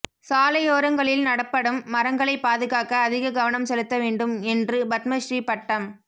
சாலையோரங்களில் நடப்படும் மரங்களைப் பாதுகாக்க அதிக கவனம் செலுத்த வேண்டும் என்று பத்மஸ்ரீ பட்டம்